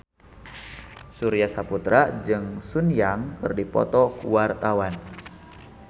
Surya Saputra jeung Sun Yang keur dipoto ku wartawan